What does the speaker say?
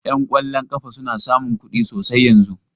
Yan kwallon kafa suna samun kuɗi sosai yanzun.